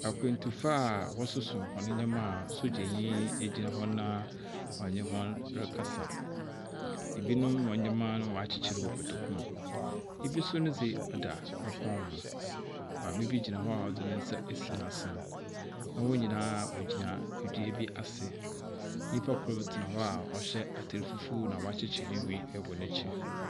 Akwantufo a wɔ soso wɔn nneɛma sodzanyin ne woegyina wɔn rekasa. Ebi nom wɔn nneɛma no waa kyekyerew wɔ kotoku mu. Ebi so nu dzi da kon ho. Maame bi gyina hɔa odzi n'nsa esi na asin na wo nyinaa wo gyina edua bi asi. Nipa kor tena hɔ a ɔhyɛ atar fufuw na woa kyekyerew ne nwene wɔ nkyir.